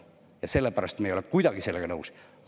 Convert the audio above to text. Ja sellepärast me ei ole kuidagi sellega nõus.